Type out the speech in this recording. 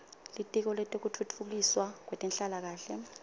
litiko letekutfutfukiswa kwetenhlalakahle